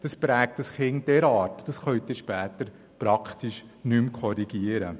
Dies prägt ein Kind so stark, dass eine Korrektur in späteren Jahren kaum mehr möglich ist.